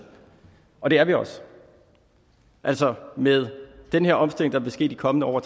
og det er vi også altså med den her omstilling der vil ske i de kommende år